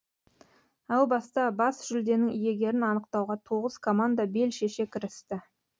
әу баста бас жүлденің иегерін анықтауға тоғыз команда бел шеше кірісті